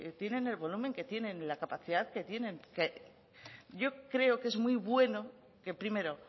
tienen el volumen que tienen la capacidad que tienen yo creo que es muy bueno que primero